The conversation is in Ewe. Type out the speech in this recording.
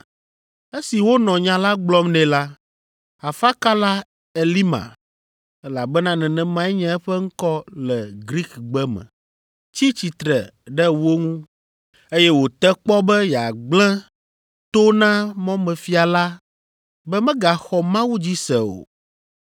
Esi wonɔ nya la gblɔm nɛ la, afakala Elima (elabena nenemae nye eƒe ŋkɔ le Grikigbe me) tsi tsitre ɖe wo ŋu, eye wòte kpɔ be yeagblẽ to na mɔmefia la be megaxɔ Mawu dzi se o.